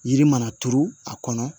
Yiri mana turu a kɔnɔ